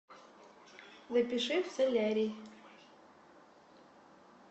напиши в солярий